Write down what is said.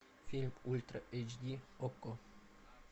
фильм ультра эйч ди окко